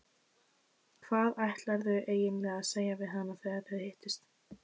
Hvað ætlarðu eiginlega að segja við hana þegar þið hittist?